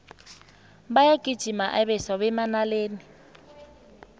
bayagijima abeswa bemanaleni